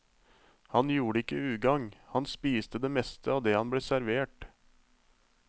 Han gjorde ikke ugang, han spiste det meste av det han ble servert.